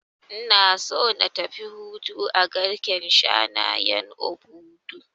Ina so na tafi hutu a garken shanayen Obudu